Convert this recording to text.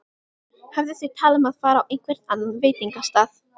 Höfðu þau talað um að fara á einhvern annan veitingastað?